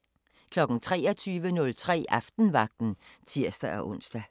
23:03: Aftenvagten (tir-ons)